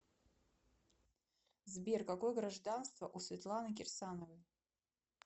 сбер какое гражданство у светланы кирсановой